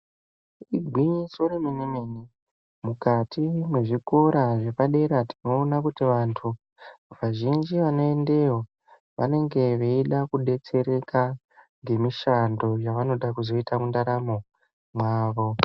Igwinyiso remene-mene, mukati mezvikora zvepadera tinoona kuti vantu vazhinji vanoendeyo, vanenge veida kudetsereka ngemishando yevanoda kuzoita mundaramo mwavo.